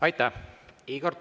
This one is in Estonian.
Aitäh!